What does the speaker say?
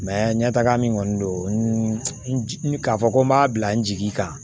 ɲɛ taga min kɔni don k'a fɔ ko n b'a bila n jigi kan